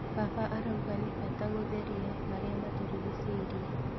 Baba arauga nĩ bata gũtheria marĩa matũrigicĩirie.